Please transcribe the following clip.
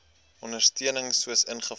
ondersteuning soos ingevolge